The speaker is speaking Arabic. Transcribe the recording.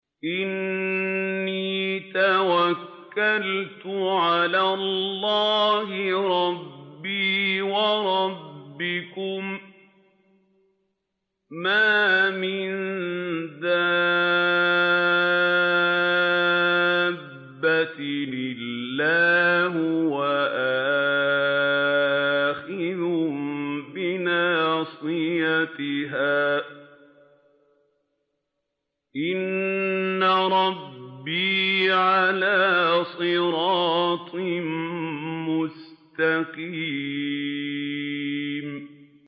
إِنِّي تَوَكَّلْتُ عَلَى اللَّهِ رَبِّي وَرَبِّكُم ۚ مَّا مِن دَابَّةٍ إِلَّا هُوَ آخِذٌ بِنَاصِيَتِهَا ۚ إِنَّ رَبِّي عَلَىٰ صِرَاطٍ مُّسْتَقِيمٍ